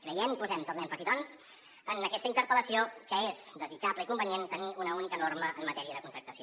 creiem i posem tot l’èmfasi doncs en aquesta interpel·lació que és desitjable i convenient tenir una única norma en matèria de contractació